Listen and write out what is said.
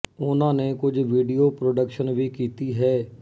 ਉਹਨਾ ਨੇ ਕੁਝ ਵੀਡੀਓ ਪ੍ਰੋਡਕਸ਼ਨ ਵੀ ਕੀਤੀ ਹੈ